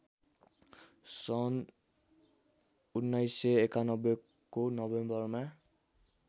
सन् १९९१ को नोभेम्बरमा